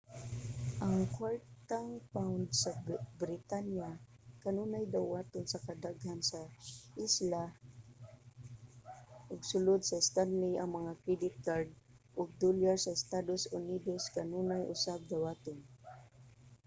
ang kuwartang pound sa britanya kanunay dawaton sa kadaghan sa isla ug sulod sa stanley ang mga credit card ug dolyar sa estados unidos kanunay usab dawaton